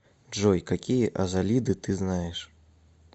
джой какие азалиды ты знаешь